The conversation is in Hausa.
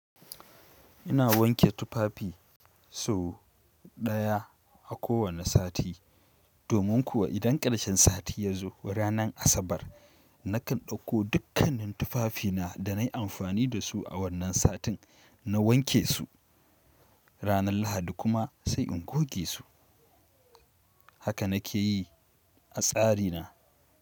Ina wanke tufafi so daya a kowane sati domin kuwa idan ƙarshen sati ya zo ranan asabar nakan ɗauko dukkanin tufafina da nayi amfani dasu a wannan satin na wanke su. Ranar Lahadi kuma sai in goge su. Haka na ke yi a tsari na.